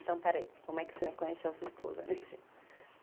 Então, peraí, como é que o senhor conheceu a sua esposa?